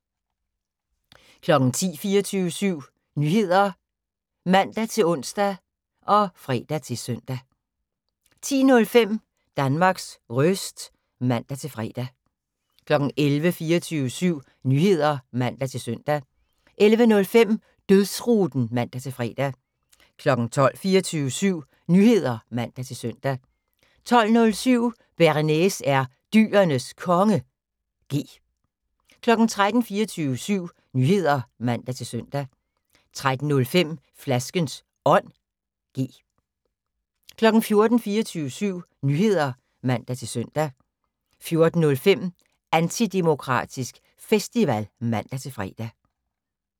10:00: 24syv Nyheder (man-ons og fre-søn) 10:05: Danmarks Röst (man-fre) 11:00: 24syv Nyheder (man-søn) 11:05: Dødsruten (man-fre) 12:00: 24syv Nyheder (man-søn) 12:07: Bearnaise er Dyrenes Konge (G) 13:00: 24syv Nyheder (man-søn) 13:05: Flaskens Ånd (G) 14:00: 24syv Nyheder (man-søn) 14:05: Antidemokratisk Festival (man-fre)